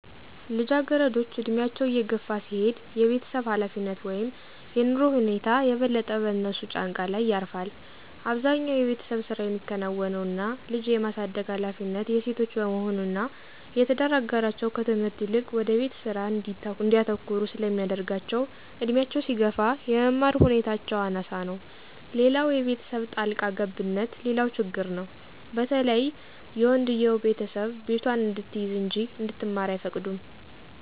ልጃገረዶች ዕድሜያቸው እየገፋ ሲሄድ የቤተሰብ ኃላፊነት (የኑሮ ሁኔታ) የበለጠ በእነሱ ጫንቃ ላይ ያርፋል። አብዛኛው የቤተሰብ ስራ ሚከናወነው እና ልጅ የማሳደግ ሀላፊነት የሴቶች በመሆኑ እና የትዳር አጋራቸው ከትምህርት ይልቅ ወደ ቤት ስራ እንዲያተኩሩ ስለሚያደረጋቸው እድሜያቸው ሲገፋ የመማር ሁኔታቸው አናሳ ነው። ሌላው የቤተሰብ ጣልቃ ገብነትም ሌላው ችግር ነው በተለይ የወንድየው ቤተሰብ ቤቷን እንድትይዝ እንጂ እንድትማር አይፈቅዱም።